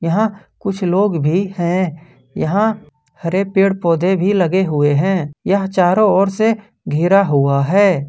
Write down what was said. यहां कुछ लोग भी हैं यहां हरे पेड़ पौधे भी लगे हुए हैं यह चारों ओर से घेरा हुआ है।